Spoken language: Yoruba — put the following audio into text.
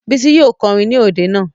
Bísí yóò kọrin ní òde náà